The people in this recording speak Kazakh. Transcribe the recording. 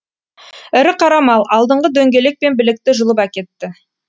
ірі қара мал алдыңғы дөңгелек пен білікті жұлып әкетті